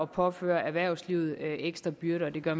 påføre erhvervslivet ekstra byrder og det gør